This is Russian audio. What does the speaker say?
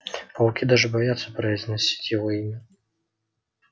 пауки даже боятся произносить его имя